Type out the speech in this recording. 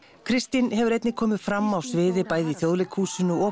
Kristín hefur einnig komið fram á sviði bæði í Þjóðleikhúsinu og